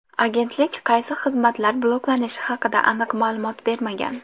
Agentlik qaysi xizmatlar bloklanishi haqida aniq ma’lumot bermagan.